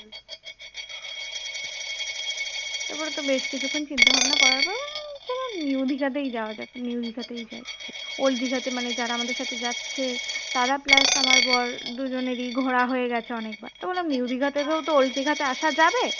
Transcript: তারপরে বেশ কিছুক্ষণ চিন্তাভাবনা করার পর চলো new দীঘাতেই যাওয়া যাক new দিঘাতেই যাই। old দিঘাতে মানে যারা আমাদের সাথে যাচ্ছে তারা plus আমার বর দুজনেরই ঘোরা হয়ে গেছে অনেকবার তো বললাম new দীঘা থেকেও তো old দিঘাতে আসা যাবে